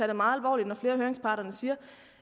det meget alvorligt når flere af høringsparterne siger